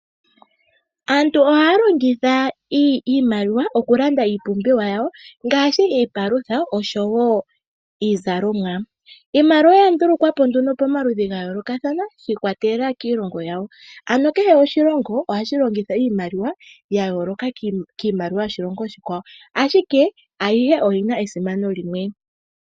Aantu ohaya longitha iimaliwa oku landa iipumbiwa yawo ngashi iipalutha oshowo iizalomwa. Iimaliwa oya ndulukwa po nduno pomaludhi ga yoolokathana, shi ikwatelela kiilongo yawo. Ano kehe oshilongo ohashi longitha iimaliwa ya yooloka kiimaliwa yoshilongo oshikwawo, ashike ayihe oyina esimano limwe.